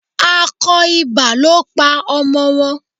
Akọ ibà ló pa ọmọ wọn.